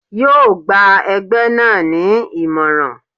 Yóò gba ẹgbẹ́ náà ni ìmọ̀ràn.